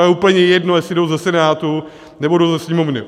A je úplně jedno, jestli jdou ze Senátu, nebo jdou ze Sněmovny.